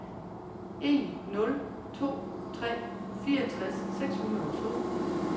en nul to tre fireogtres seks hundrede og to